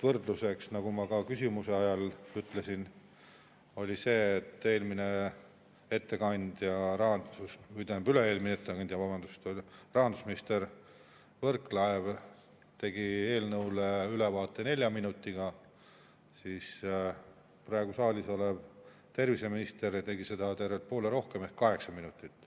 Võrdluseks, nagu ma ka küsimise ajal ütlesin, on see, et eelmine ettekandja, või tähendab, üle-eelmine ettekandja rahandusminister Võrklaev tegi eelnõu ülevaate nelja minutiga, siis praegu saalis olev terviseminister tegi seda tervelt poole kauem ehk kaheksa minutit.